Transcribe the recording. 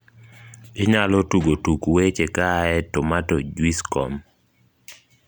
inyalo tugo tuk weche kaae tomatojuicecom